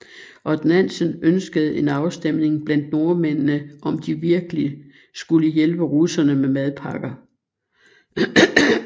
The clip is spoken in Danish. Odd Nansen ønskede en afstemning blandt nordmændene om de virkelig skulle hjælpe russerne med madpakker